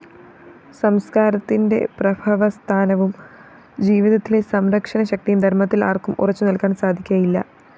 സംസ്‌കാരത്തിന്റെ പ്രഭവസ്ഥാനവും ജീവിതത്തിലെ സംരക്ഷണശക്തിയും ധര്‍മത്തില്‍ ആര്‍ക്കും ഉറച്ചുനില്‍ക്കാന്‍ സാധിക്കയില്ല